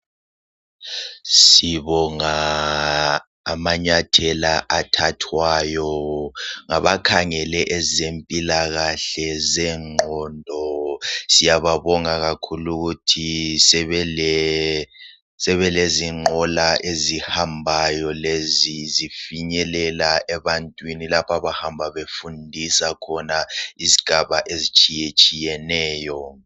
Sibonga amanyathela athathwayo ngabakhangele ezempilakahle zengqondo. Siyababonga kakhulu ukuthi sebelezinqola ezihambayo lezi zifinyelela ebantwini lapho abahamba befundisa khona izigaba ezitshiyeneyo.